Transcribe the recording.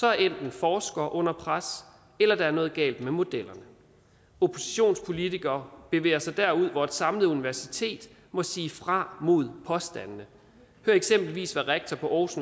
er enten forskere under pres eller der er noget galt med modellerne oppositionspolitikere bevæger sig derud hvor et samlet universitet må sige fra mod påstandene hør eksempelvis hvad rektor på aarhus